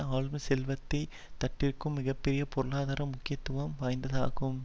ஆளும் செல்வந்த தட்டிற்கு மிக பெரும் பொருளாதார முக்கியத்துவம் வாய்ந்ததாகும்